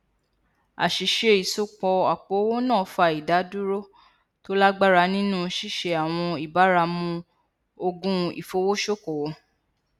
àṣìṣe ìsopọ àpòowó náà fa ìdádúró tó lágbára nínú ṣíṣe àwọn ìbáramu ogun ifowosokowo